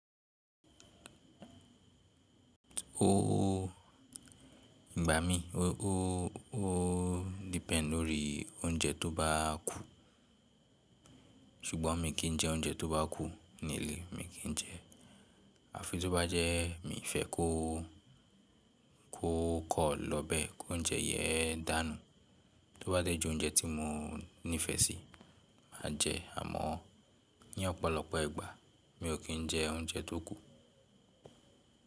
Ó gbà mí, ó, ó depend lórí oúnjẹ tó bá kù, ṣùgbọ́n mi kì í jẹ oúnjẹ tó bá kù ní ilé, mi kì í jẹ. Àfi tó bá jẹ́ mi fẹ́ kó, kó kọ̀ lọ bẹ́ẹ̀ kó oúnjẹ yé dànù, tó bá jẹ́ ju oúnjẹ tí mo nífẹ̀ẹ́ sí máa jẹ ẹ́. Àmọ́ ní ọ̀pọ̀lọpọ̀ ìgbà mi ò kí ń jẹ oúnjẹ tó kù.